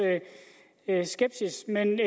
jeg skepsis men